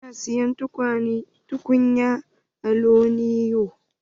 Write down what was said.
Na siyi tukunyar aluminiyon.